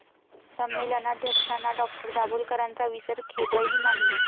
संमेलनाध्यक्षांना डॉ.दाभोलकरांचा विसर, खेदही नाही!